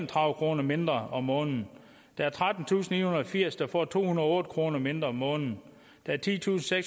tredive kroner mindre om måneden der er trettentusinde og firs der får to hundrede og otte kroner mindre om måneden der er titusinde og